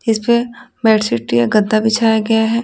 इस पे बेडशीट या गद्दा बिछाया गया है।